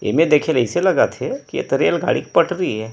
ऐमे देखें ले अइसे लगत हे के ये तो रेल गाड़ी के पटरी ए--